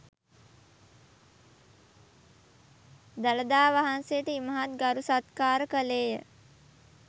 දළදා වහන්සේට ඉමහත් ගරු සත්කාර කළේ ය.